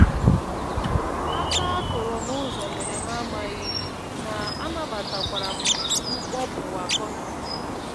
Áká a kụrụ n'ụzọ mere m amaghị ihe, ma anabatakwara m mkpọpụ akọnuche ahụ.